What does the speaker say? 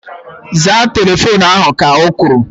Zaa telefoonu ahu! Ka o kwuru